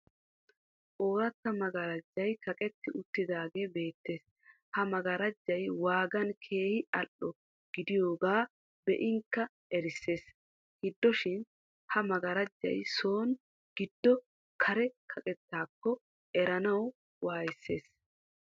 Ooratta magaraajjay kaqetti uttaagee beettees. Ha magaraajjay waagan keehi al''o gidiyogaa be'inkka erissees. Hidoshin ha magaraajjay son gido kare kaqettaakko eranawu wayssees.